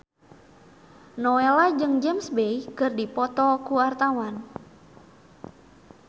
Nowela jeung James Bay keur dipoto ku wartawan